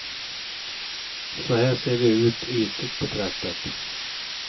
Så här ser det ut, ytligt betraktat.